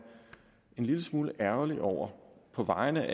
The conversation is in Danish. en lille smule ærgerlig over på vegne